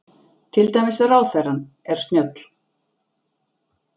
Til dæmis, Ráðherrann er snjöll.